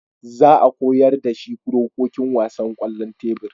Za a koyar da shi dokokin wasan kwallon tebur